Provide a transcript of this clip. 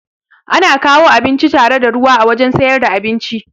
Ana kawo abinci tare da ruwa a wajan siyar da abinci